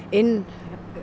inn